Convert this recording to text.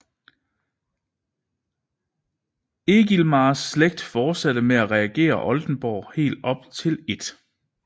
Egilmars slægt fortsatte med at regere Oldenborg helt op til 1